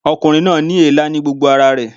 Ọkùnrin náà ní èélá ní gbogbo ara rẹ̀